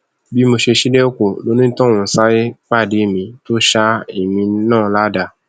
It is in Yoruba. bí mo ṣe ṣílẹkùn lonítọhún sáré pàdé mi tó ṣá èmi náà ládàá